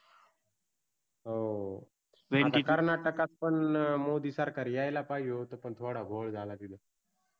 हो आणि कर्नाटकात पण मोदी सरकार यायला पाहीजे होते पण तिथ थोडा घोळ झाला तिथ